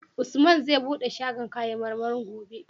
Usman zai buɗe shagon kayan marmarin gobe?